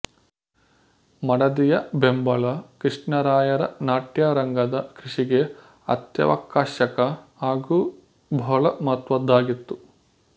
ಮಡದಿಯ ಬೆಂಬಲ ಕೃಷ್ಣರಾಯರ ನಾಟ್ಯರಂಗದ ಕೃಷಿಗೆ ಅತ್ಯವಕಶ್ಯಕ ಹಾಗೂ ಬಹಳ ಮಹತ್ವದ್ದಾಗಿತ್ತು